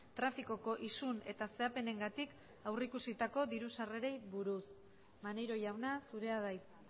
trafikoko isun eta zehapenengatik aurrikusitako diru sarrerei buruz maneiro jauna zurea da hitza